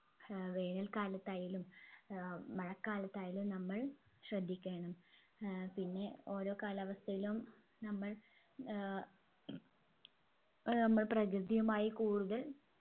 ഏർ വേനൽ കാലത്തായാലും ഏർ മഴ കാലത്തായാലും നമ്മൾ ശ്രദ്ധിക്കണം ഏർ പിന്നെ ഓരോ കാലാവസ്ഥയിലും നമ്മൾ ഏർ നമ്മൾ പ്രകൃതിയുമായി കൂടുതൽ